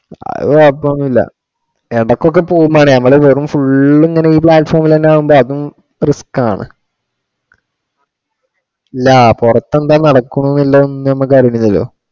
അത് കുഴപ്പം ഒന്നുമില്ല ഇടക്കൊക്കെ പോകും മണി നമ്മള് വെറും full ഇങ്ങനെ ഈ platform ഇൽ ആകുമ്പോ അതും risk ആണ്. ഇല്ല പുറത്തു എന്താ നടക്കണു വല്ലോം നമുക്കറിയില്ലല്ലോ.